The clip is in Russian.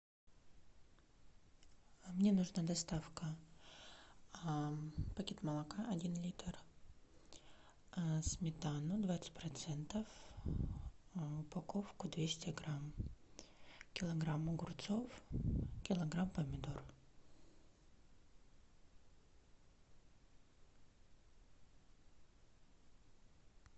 мне нужна доставка пакет молока один литр сметана двадцать процентов упаковка двести грамм килограмм огурцов килограмм помидор